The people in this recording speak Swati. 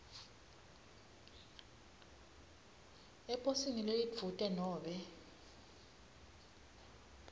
eposini lelidvute nobe